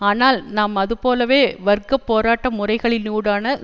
ஆனால் நாம் அது போலவே வர்க்க போராட்ட முறைகளினூடான